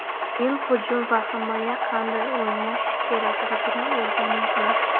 Men hujum va himoyada qanday o‘ynash kerakligini o‘rganyapman.